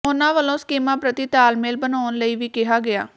ਉਨ੍ਹਾਂ ਵੱਲੋਂ ਸਕੀਮਾਂ ਪ੍ਰਤੀ ਤਾਲਮੇਲ ਬਣਾਉਣ ਲਈ ਵੀ ਕਿਹਾ ਗਿਆ